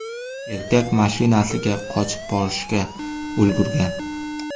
Erkak mashinasigacha qochib borishga ulgurgan.